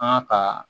An ka ka